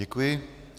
Děkuji.